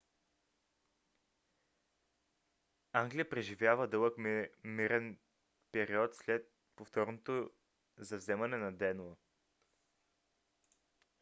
англия преживява дълъг мирен период след повторното завземане на денло